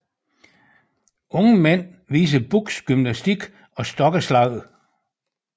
Unge mænd viser Bukhs gymnastik og stokkeslag